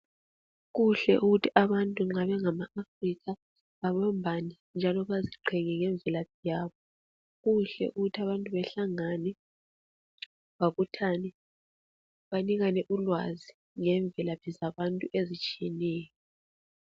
Kuhle ukuthi abantu nxa bengama Africa bebambane njalo baziqhenye ngemvelaphi yabo. Kuhle ukuthi abantu behlangane babuthane ,banikane ulwazi ngemvelaphi ezitshiyeneyo.